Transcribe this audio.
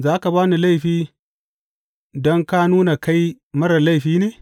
Za ka ba ni laifi don ka nuna kai marar laifi ne?